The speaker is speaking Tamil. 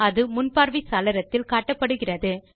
அது முன்பார்வை சாளரத்தில் காட்டப்படுகிறது